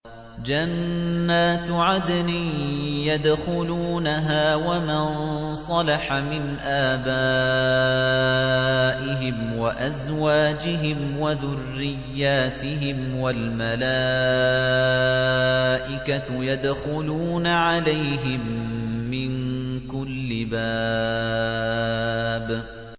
جَنَّاتُ عَدْنٍ يَدْخُلُونَهَا وَمَن صَلَحَ مِنْ آبَائِهِمْ وَأَزْوَاجِهِمْ وَذُرِّيَّاتِهِمْ ۖ وَالْمَلَائِكَةُ يَدْخُلُونَ عَلَيْهِم مِّن كُلِّ بَابٍ